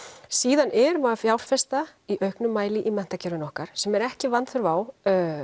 síðan erum að fjárfesta í auknum mæli í menntakerfinu okkar sem er ekki vanþörf á